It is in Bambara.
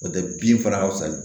N'o tɛ bin fana ka fisa